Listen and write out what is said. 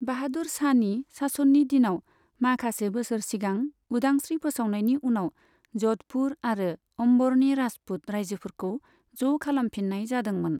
बाहादुर शाहनि शासननि दिनाव, माखासे बोसोर सिगां उदांस्रि फोसावनायनि उनाव जधपुर आरो अम्बरनि राजपुत रायजोफोरखौ ज' खालामफिननाय जादोंमोन।